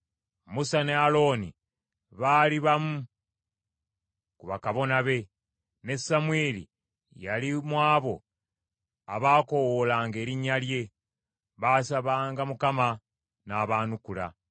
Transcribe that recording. Musa ne Alooni baali bamu ku bakabona be; ne Samwiri yali mu abo abaakoowoolanga erinnya lye; baasabanga Mukama n’abaanukula.